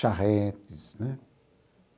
charretes né.